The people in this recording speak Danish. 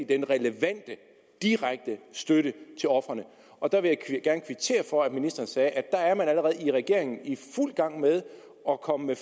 den relevante direkte støtte til ofrene og der vil jeg gerne kvittere for at ministeren sagde at der er man allerede i regeringen i fuld gang med at komme med